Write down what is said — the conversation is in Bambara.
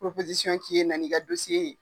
k'i ye na n'i ka ye.